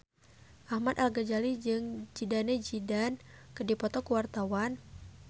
Ahmad Al-Ghazali jeung Zidane Zidane keur dipoto ku wartawan